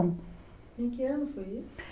Em que ano foi isso?